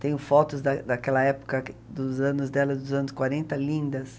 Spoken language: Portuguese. Tenho fotos da daquela época dos anos dela, dos anos quarenta, lindas.